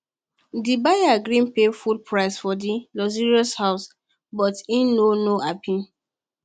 the buyer gree pay full price for the luxury house but e no no happy